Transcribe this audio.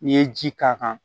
N'i ye ji k'a kan